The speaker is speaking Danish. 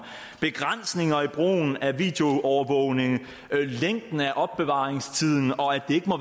begrænsninger i brugen af videoovervågning længden af opbevaringstiden og at det ikke må